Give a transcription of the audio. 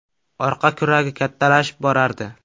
Orqa kuragi kattalashib borardi.